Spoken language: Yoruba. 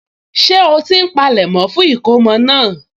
Ṣé ó ti ń polẹ̀mọ́ fún ìkómọ náà?